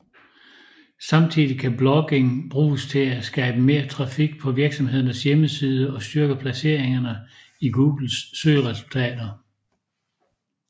Samtidig kan blogging bruges til at skabe mere trafik på virksomhedens hjemmeside og styrke placeringerne i Googles søgeresultater